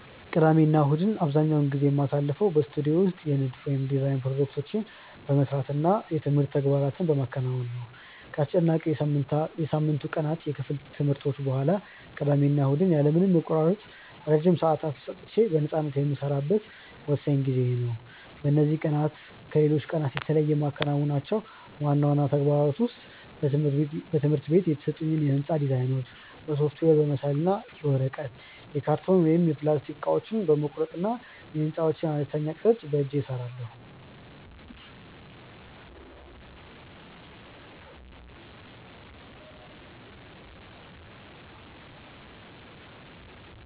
ቅዳሜና እሁድን አብዛኛውን ጊዜ የማሳልፈው በስቱዲዮ ውስጥ የንድፍ (Design) ፕሮጀክቶቼን በመስራት እና የትምህርት ተግባራትን በማከናወን ነው። ከአስጨናቂው የሳምንቱ ቀናት የክፍል ትምህርቶች በኋላ፣ ቅዳሜና እሁድ ያለ ምንም መቆራረጥ ረጅም ሰዓታት ሰጥቼ በነፃነት የምሰራበት ወሳኝ ጊዜዬ ነው። በእነዚህ ቀናት ከሌሎች ቀናት የተለዩ የማከናውናቸው ዋና ዋና ተግባራት ውስጥ በትምህርት ቤት የተሰጡኝን የሕንፃ ዲዛይኖች በሶፍትዌር በመሳል እና የወረቀት፣ የካርቶን ወይም የፕላስቲክ እቃዎችን በመቁረጥ የሕንፃዎችን አነስተኛ ቅርፅ በእጄ እሰራለሁ።